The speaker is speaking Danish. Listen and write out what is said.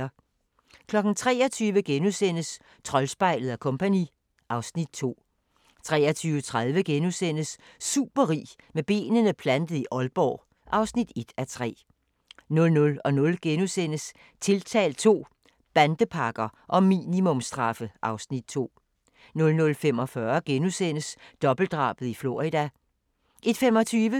23:00: Troldspejlet & Co. (Afs. 2)* 23:30: Superrig med benene plantet i Aalborg (1:3)* 00:00: Tiltalt II – Bandepakker og minimumsstraffe (Afs. 2)* 00:45: Dobbeltdrabet i Florida * 01:25: